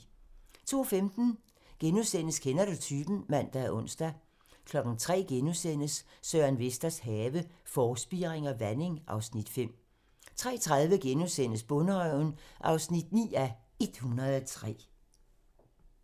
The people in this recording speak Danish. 02:15: Kender du typen? *(man og ons) 03:00: Søren Vesters have - Forspiring og vanding (Afs. 5)* 03:30: Bonderøven (9:103)*